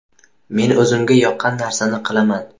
Men o‘zimga yoqqan narsani qilaman.